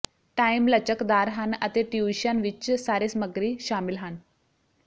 time ਲਚਕਦਾਰ ਹਨ ਅਤੇ ਟਿਊਸ਼ਨ ਵਿੱਚ ਸਾਰੇ ਸਾਮੱਗਰੀ ਸ਼ਾਮਲ ਹਨ